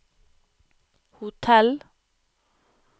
hotell